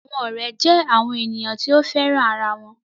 Àwọn ọ̀rẹ́ jẹ́ àwọn ènìyàn tí o féràn ara wọn